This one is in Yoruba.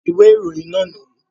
Ìwé ìròyìn náà nìyí.